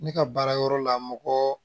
Ne ka baara yɔrɔ la mɔgɔ